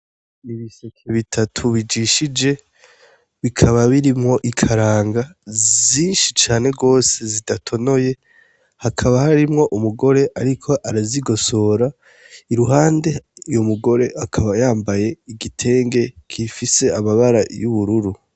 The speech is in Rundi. N'ibiseke bitatu bijishije bikaba birimwo ikaranga zishi cane gose zidatonoye hakaba hari umugore ariko arazigosora uwo mugore akaba yambaye igitenge gifise amabara y'ubururu.